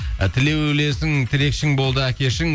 і тілеулесің тілекшің болды әкешің